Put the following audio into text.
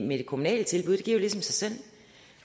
med det kommunale tilbud det giver jo ligesom sig selv